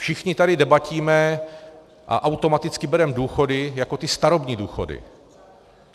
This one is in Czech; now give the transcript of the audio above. Všichni tady debatíme a automaticky bereme důchody jako ty starobní důchody.